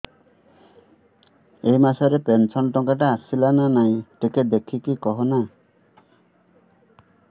ଏ ମାସ ରେ ପେନସନ ଟଙ୍କା ଟା ଆସଲା ନା ନାଇଁ ଟିକେ ଦେଖିକି କହନା